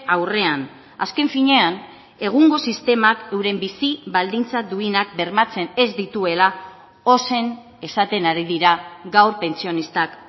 aurrean azken finean egungo sistemak euren bizi baldintza duinak bermatzen ez dituela ozen esaten ari dira gaur pentsionistak